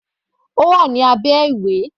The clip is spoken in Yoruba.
Ó wà ní abẹ́ ìwé.